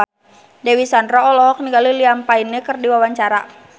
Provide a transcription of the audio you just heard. Dewi Sandra olohok ningali Liam Payne keur diwawancara